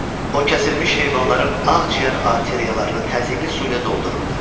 O kəsilmiş heyvanların ağciyər arteriyalarını təzyiqli su ilə doldururdu.